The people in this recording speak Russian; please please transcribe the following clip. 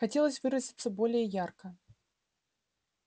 хотелось выразиться более ярко